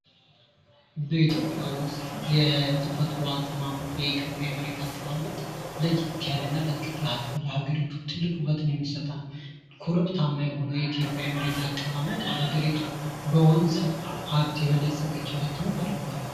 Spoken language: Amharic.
በኢትዮጵያ ውስጥ የተፈጥሮ አቀማመጡ የኢትዮጵያ የተፈጥሮ አቀማመጥ ለዬት ያለና ለሀገሪቱ ትልቅ ውበት የሚሰጥ ነው። ኮረብታማ የሆነ የኢትዮጵያ የመሬት አቀማመጥ ሀገሪቱ በወንዝ ሀብት የበለፀገች እንድትሆን አድርጓታል